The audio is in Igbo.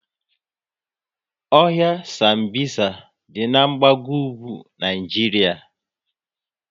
Ohia Sambisa dị n'gbago ugwu Naijiria